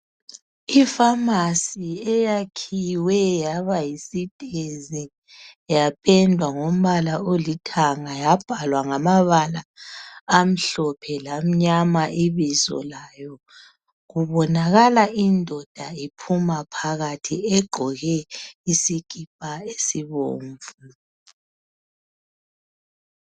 Ifamasi eyakhiwe yaba yisitezi yapendwa ngombala olithanga yabhalwa ngamabala amhlophe lamnyama ibizo layo kubonakala indoda iphuma phakathi egqoke isikipa esibomvu.